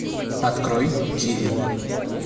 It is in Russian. открой киви